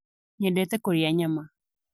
Nyendete kũrĩa nyama